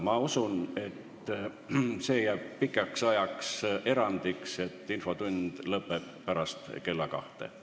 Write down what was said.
Ma usun, et see jääb pikaks ajaks erandiks, et infotund lõpeb pärast kella kahte.